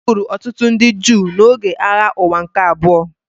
E gburu ọtụtụ ndị Juu n’oge Agha Ụwa nke Abụọ.